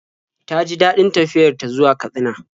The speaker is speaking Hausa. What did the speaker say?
Ta ji daɗin tafiyar ta zuwa Katsina.